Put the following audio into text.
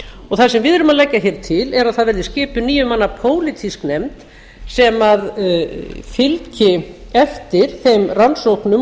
og það sem við erum að leggja til að það verði skipuð níu manna pólitísk nefnd sem fylgi eftir þeim rannsóknum og